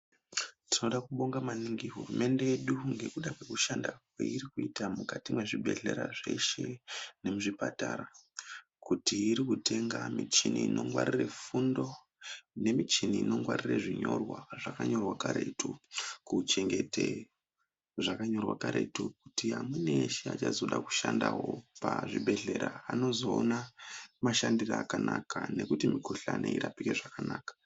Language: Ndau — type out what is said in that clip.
Tinoda kubonga maningi hurumende yedu ngekuda Kwekushanda kweirikuita mukati mwezvibhedhlera zveshe nemuzvipatara kuti irikutenga michini inongwarire fundo nemichini inongwarira zvinyorwa zvakanyorwa karetu kuchengete zvakanyorwa karetu nekuti amweni eshe anozoda kushandawo pachibhedhlera anozoona mashandire akanaka nekuti mikhuhlani irapike zvakanaka.